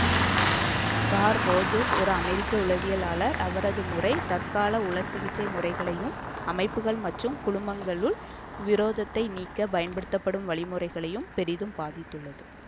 curl Rogers ஒரு அமெரிக்க உளவியலாளர் அவரது முறை தற்கால உளச்சிகிச்சை முறைகளையும் அமைப்புக்கள் மற்றும் குழுமங்களுக்குள் விரோதத்தை நீக்க பயன்படுத்தப்படும் வழிமுறைகளையும் பெரிதும் பாதித்துள்ளது